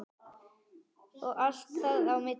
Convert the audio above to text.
Og allt þar á milli.